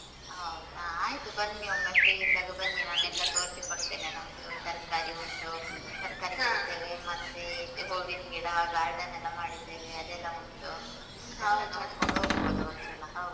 ಹೌದ ಆಯ್ತು. ಬನ್ನಿ ಒಮ್ಮೆ free ಇದ್ದಾಗ ಬನ್ನಿ ನಾನೆಲ್ಲ ತೋರ್ಸಿಕೊಡ್ತೇನೆ. ನಮ್ದು ತರ್ಕಾರಿ ಉಂಟು, ತರ್ಕಾರಿ ಮತ್ತೆ ಹೂವಿನ್ ಗಿಡ, garden ಎಲ್ಲ ಮಾಡಿದ್ದೇವೆ. ಅದೆಲ್ಲ ಉಂಟು. ನೋಡ್ಕೊಂಡ್ ಹೋಗ್ಬೋದು ಒಂದ್ಸಲ ಹೌದು.